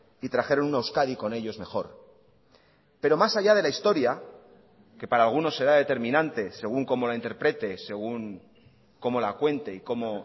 y trajeron una euskadi con ellos mejor pero más allá de la historia que para alguno será determinante según como la interprete según cómo la cuente y cómo